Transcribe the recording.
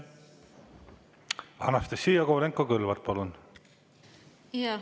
Anastassia Kovalenko-Kõlvart, palun!